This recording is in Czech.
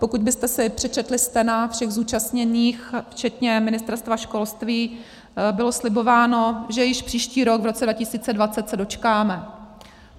Pokud byste si přečetli stena všech zúčastněných včetně Ministerstva školství, bylo slibováno, že již příští rok, v roce 2020, se dočkáme.